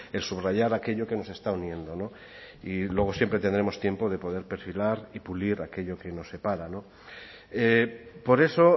el subrayar aquello que nos están uniendo no y luego siempre tendremos tiempo de poder perfilar y pulir aquello que nos separa no por eso